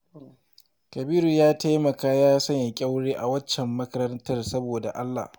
Kabiru ya taimaka ya sanya ƙyaure a waccan makarantar saboda Allah